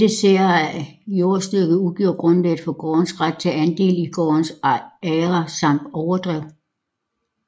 Dette særejede jordstykke udgjorde grundlaget for gårdens ret til andel i gårdens agre samt overdrev